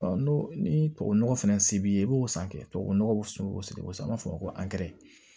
n'o ni tubabunɔgɔ fɛnɛ se b'i ye i b'o san kɛ tubabu nɔgɔ sugu an b'a fɔ o ma ko